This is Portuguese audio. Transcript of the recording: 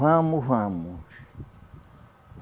Vamos, vamos.